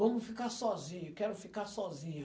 Vamo ficar sozinho, quero ficar sozinha.